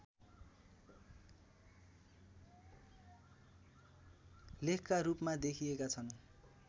लेखका रूपमा देखिएका छन्